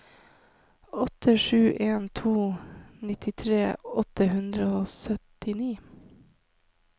åtte sju en to nittitre åtte hundre og syttini